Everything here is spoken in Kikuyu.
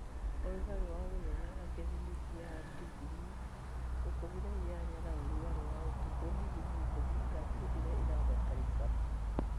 Ũrugarĩ wa mũthenya wa gĩthimi kĩa digrii ikũmi na inyanya na ũrugarĩ wa ũtukũ digrii ikũmi na ithatũ iria ĩrabatarakĩna